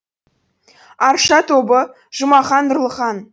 арша тобы жұмахан нұрлыхан